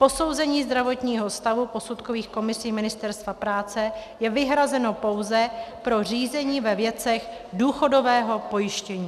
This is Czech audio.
Posouzení zdravotního stavu posudkových komisí Ministerstva práce je vyhrazeno pouze pro řízení ve věcech důchodového pojištění.